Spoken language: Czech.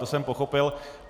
To jsem pochopil.